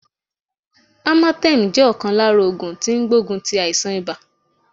Amatem jẹ́ ọ̀kan lára ògùn tó n gbógun ti àìsàn ibà